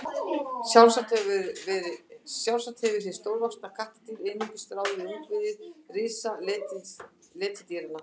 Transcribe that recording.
sjálfsagt hefur hið stórvaxna kattardýr einungis ráðið við ungviði risaletidýranna